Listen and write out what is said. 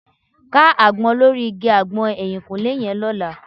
Ká àgbọn lórí igi àgbọn ẹ̀yìnkùlẹ́ yẹn lọ́la